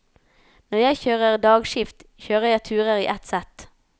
Når jeg kjører dagskift, kjører jeg turer i ett sett.